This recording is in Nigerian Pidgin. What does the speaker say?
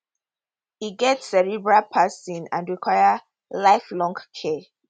e get cerebral palsy and require lifelong care